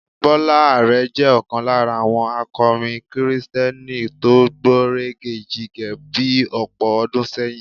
Bọ́lá Àrẹ jẹ́ ọ̀kan lára àwọn akọrin kìrìsìtẹ́nì tó gbọ̀nrẹ̀gẹ̀jigẹ̀ bí ọ̀pọ̀ ọdún sẹ́yìn.